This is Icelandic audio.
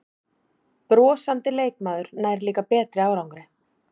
Brosandi leikmaður nær líka betri árangri